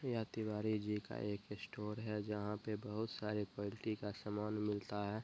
यह तिवारी जी का एक स्टोर है। जहाँ पे बहोत सारे क्वालिटी का समान मिलता है।